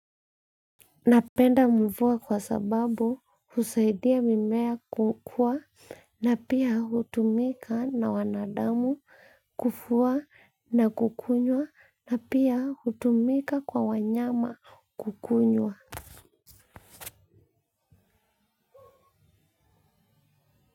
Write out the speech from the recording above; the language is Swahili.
Napenda mvua kwa sababu husaidia mimea kukua na pia hutumika na wanadamu kufua na kukunywa na pia hutumika kwa wanyama kukunywa.